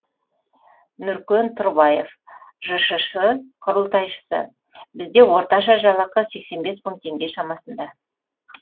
нұркен тұрбаев жшс құрылтайшысы бізде орташа жалақы сексен бес мың теңге шамасында